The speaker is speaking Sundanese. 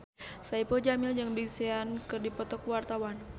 Saipul Jamil jeung Big Sean keur dipoto ku wartawan